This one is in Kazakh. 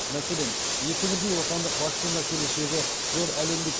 мәселен екі бірдей отандық вакцина келешегі зор әлемдік